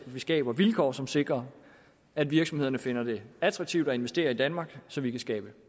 vi skaber vilkår som sikrer at virksomhederne finder det attraktivt at investere i danmark så vi kan skabe